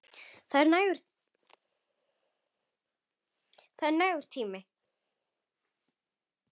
Það er nægur tími.